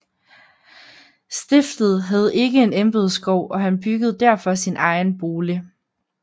Stiftet havde ikke en embedsgård og han byggede derfor sin egen bolig